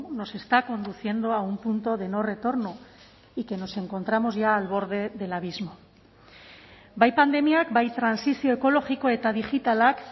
nos está conduciendo a un punto de no retorno y que nos encontramos ya al borde del abismo bai pandemiak bai trantsizio ekologiko eta digitalak